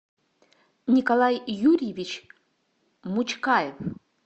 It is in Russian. николай юрьевич мучкаев